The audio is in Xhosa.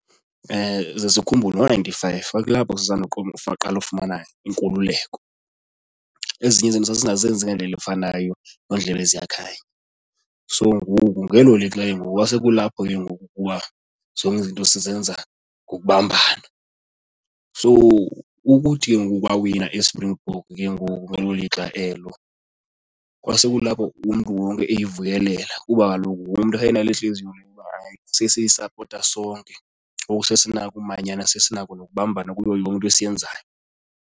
Zesikhumbule ngo-ninety-five kwakulapho saqala ukufumana inkululeko. Ezinye izinto sasingazenzi ngendlela efanayo nendlela eziyakhayo, so ngoku ngelo lixa kengoku kwasekulapho ke ngoku ukuba zonke izinto sizenza ngokubambana. So ukuthi ke ngoku kwawina iSpringbok ke ngoku ngelo lixa elo, kwasekulapho umntu wonke eyivuyelela kuba kaloku wonke umntu uba hayi sesiyisapota sonke. Ngoku sesinako umanyana, sesinako nokubambana kuyo yonke into esiyenzayo.